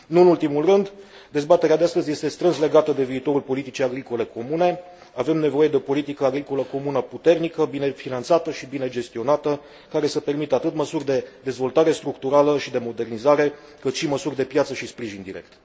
Nu în ultimul rând, dezbaterea de astăzi este strâns legată de viitorul politicii agricole comune. Avem nevoie de o politică agricolă comună puternică, bine finanțată și bine gestionată, care să permită atât măsuri de dezvoltare structurală și de modernizare, cât și măsuri de piață și sprijin direct.